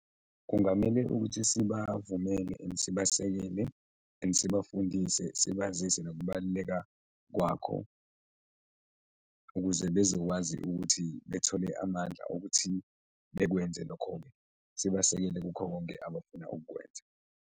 Kungamele ukuthi sibavumile and sibasekelele and sibafundise, sibazise nokubaluleka kwakho ukuze bezokwazi ukuthi bethole amandla okuthi bekwenze lokho-ke, sibasekele kukho konke abafuna ukukwenza.